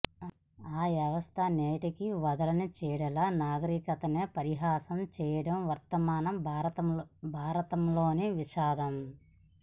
ఆ వ్యవస్థ నేటికీ వదలని చీడలా నాగరికతనే పరిహాసం చేయడం వర్తమాన భారతంలోని విషాదం